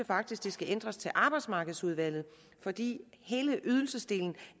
faktisk skal ændres til arbejdsmarkedsudvalget fordi hele ydelsesdelen